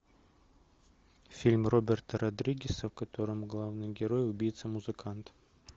фильм роберта родригеса в котором главный герой убийца музыкант